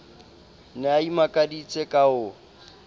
ne a imakaditse ka ho